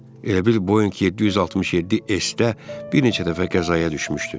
Elə bil Boeing 767 S-də bir neçə dəfə qəzaya düşmüşdü.